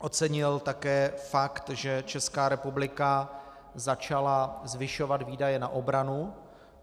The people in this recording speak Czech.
Ocenil také fakt, že Česká republika začala zvyšovat výdaje na obranu.